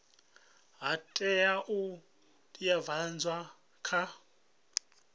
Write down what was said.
ha tea u teavhedzwa kha